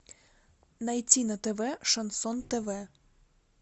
найти на тв шансон тв